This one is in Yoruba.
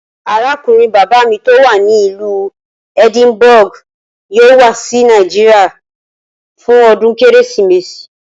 Arákùnrin bàbá mi tó wà ní ìlú Edinburgh yóò wá sí Nàìjíríà fún o̩dún Kérésìmesì